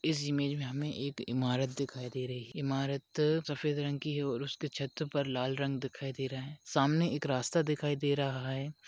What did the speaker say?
इस इमेज में हमें एक इमारत दिखाई दे रही इमारत सफेद रंग की है और और उसके छत पर लाल रंग दिखाई दे रहा है सामने एक रास्ता दिखाई दे रहा है।